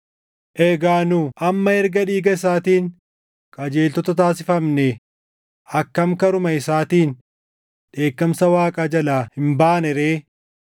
Egaa nu amma erga dhiiga isaatiin qajeeltota taasifamnee, akkam karuma isaatiin dheekkamsa Waaqaa jalaa hin baane ree!